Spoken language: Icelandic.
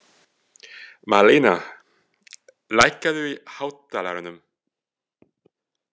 Marlena, lækkaðu í hátalaranum.